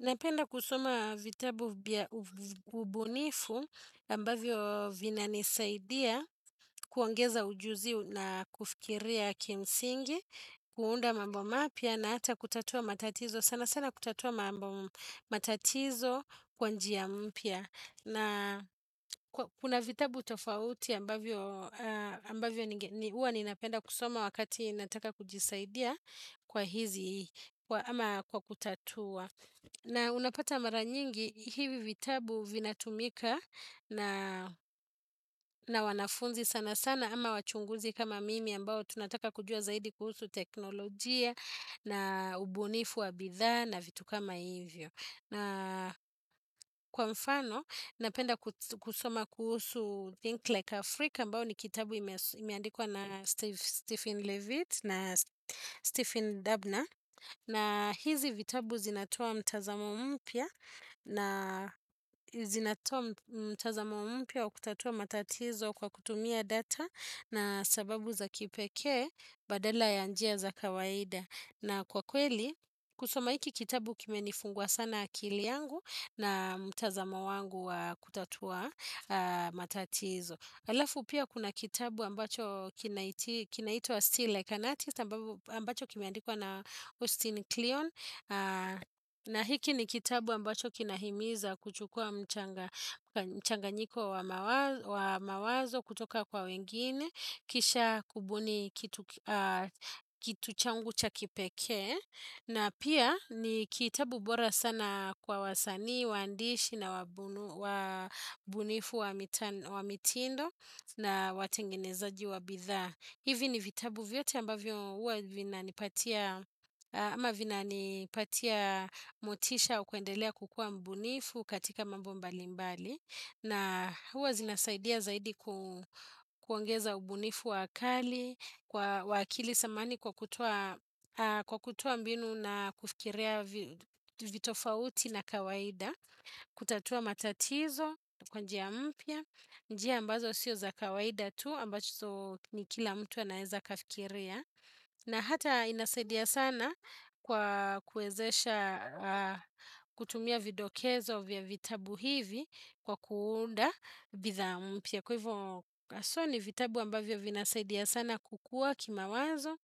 Napenda kusoma vitabu ubunifu ambavyo vina nisaidia kuongeza ujuzi na kufikiria kimsingi, kuunda mambo mapya na hata kutatua matatizo. Sana sana kutatua mambo matatizo kwanjia mpya. Na kuna vitabu tofauti ambavyo ni huwa ni napenda kusoma wakati nataka kujisaidia kwa hizi ama kwa kutatua. Na unapata mara nyingi hivi vitabu vinatumika na wanafunzi sana sana ama wachunguzi kama mimi ambao tunataka kujua zaidi kuhusu teknolojia na ubunifu wa bidha na vitu kama hivyo io. Na kwa mfano, napenda kusoma kuhusu Think Like Afrika ambacho ni kitabu imeandikwa na Stephen Levitt na Stephen Dubner. Na hizi vitabu zinatoa mtazamo mpya na zinatoa mtazamo mpya wa kutatua matatizo kwa kutumia data na sababu za kipeke badala ya njia za kawaida. Na kwa kweli, kusoma hiki kitabu kime nifungua sana akili yangu na mtazamo wangu wa kutatua matatizo. Alafu pia kuna kitabu ambacho kinaitwa Steel Like Anathis ambacho kimeandikuwa na Austin Kleon. Na hiki ni kitabu ambacho kinahimiza kuchukua mchanganyiko wa mawazo kutoka kwa wengine. Kisha kubuni kitu changu cha kipekee. Na pia ni kitabu bora sana kwa wasani, wandishi na wabunifu wa mitindo na watengenezaji. Wa bidhaa. Hivi ni vitabu vyote ambavyo huwa vina nipatia mutisha ukiendelea kukua mbunifu katika mambi mbali mbalimbali na huwa zinasaidia zaidi kuongeza ubunifu wakali, kwa w akili samani kwa kutoa mbinu na kufikiria vitofauti na kawaida, kutatua matatizo, kwa njia mpya, njia ambazo sio za kawaida tu ambazo ni kila mtu anaeza kafikiria. Na hata inasaidia sana kwa kuezesha kutumia vidokezo vya vitabu hivi kwa kuunda bidhaa mpya kwa hivyo kaso ni vitabu ambavyo vya inasaidia sana kukua kima wazo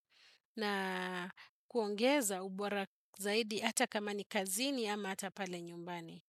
na kuongeza ubora zaidi hata kama ni kazini ama hata pale nyumbani.